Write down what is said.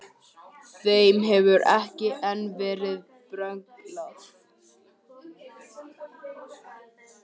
Þeim hefur ekki enn verið brenglað.